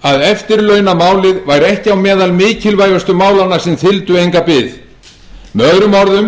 að eftirlaunamálið væri ekki á meðal mikilvægustu málanna sem þyldu enga bið möo